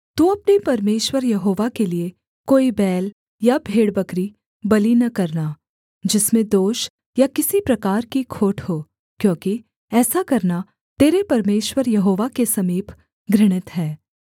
तू अपने परमेश्वर यहोवा के लिये कोई बैल या भेड़बकरी बलि न करना जिसमें दोष या किसी प्रकार की खोट हो क्योंकि ऐसा करना तेरे परमेश्वर यहोवा के समीप घृणित है